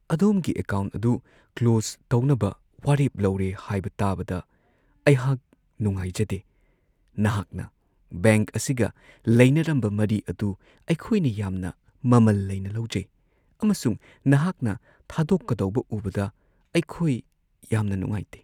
ꯑꯗꯣꯝꯒꯤ ꯑꯦꯀꯥꯎꯟꯠ ꯑꯗꯨ ꯀ꯭ꯂꯣꯁ ꯇꯧꯅꯕ ꯋꯥꯔꯦꯞ ꯂꯧꯔꯦ ꯍꯥꯏꯕ ꯇꯥꯕꯗ ꯑꯩꯍꯥꯛ ꯅꯨꯡꯉꯥꯏꯖꯗꯦ ꯫ ꯅꯍꯥꯛꯅ ꯕꯦꯡꯛ ꯑꯁꯤꯒ ꯂꯩꯅꯔꯝꯕ ꯃꯔꯤ ꯑꯗꯨ ꯑꯩꯈꯣꯏꯅ ꯌꯥꯝꯅ ꯃꯃꯜ ꯂꯩꯅ ꯂꯧꯖꯩ ꯑꯃꯁꯨꯡ ꯅꯍꯥꯛꯅ ꯊꯥꯗꯣꯛꯀꯗꯧꯕ ꯎꯕꯗ ꯑꯩꯈꯣꯏ ꯌꯥꯝꯅ ꯅꯨꯡꯉꯥꯏꯇꯦ ꯫